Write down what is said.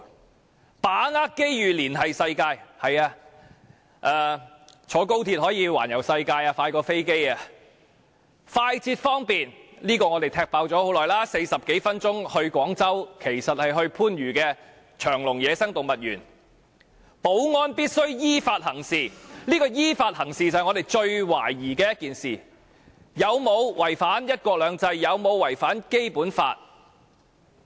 他說甚麼"把握機遇連繫世界"，是的，坐高鐵可以環遊世界，較飛機更快；至於"快捷方便"，這一點早已被我們拆穿了，所謂40多分鐘到達廣州，其實只能到達番禺長隆野生動物園；"保安必須依法行事"，但"依法行事"就是我們最懷疑的一點，當中究竟有否違反"一國兩制"，有否違反《基本法》呢？